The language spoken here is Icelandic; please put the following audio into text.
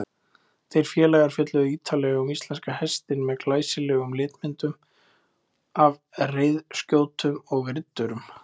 Þeir félagar fjölluðu ýtarlega um íslenska hestinn með glæsilegum litmyndum af reiðskjótum og riddurum.